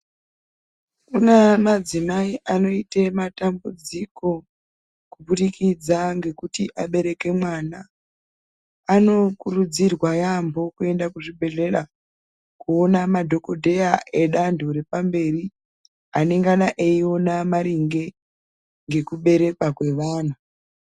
Kune madzimai anoite matambudziko kuburikidza nekuti abereke mwana anokurudzirwa yaambo kuenda kuzvibhedhlera koona madhokodheya edu anthu epamberi anengana eiona maringe ngekuberekwa kwemunhu.